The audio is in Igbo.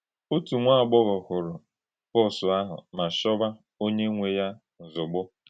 Ma òtù nwà-àgbọ́ghọ̀ hùrù pọọ́sù àhụ̀ ma chọ̀wà ònyé nwè yá ǹzọ̀gbò.